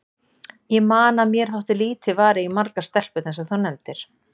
Ég man að mér þótti lítið varið í margar stelpurnar sem þú nefndir.